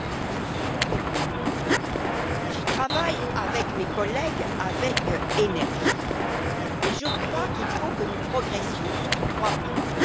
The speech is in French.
Je suis PPE et j'y travaille avec mes collègues avec énergie, mais je crois qu'il faut que nous progressions sur trois points.